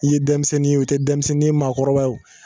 I ye denmisɛnnin ye wo i tɛ denmisɛnnin ye wo i ye maakɔrɔba ye wo